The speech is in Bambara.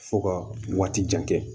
Fo ka waati jan kɛ